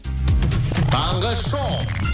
таңғы шоу